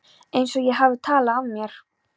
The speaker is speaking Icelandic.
Einsog ég hafi talað af mér.